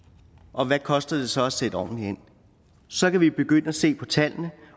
og hvad koster det så at sætte ordentligt ind så kan vi begynde at se på tallene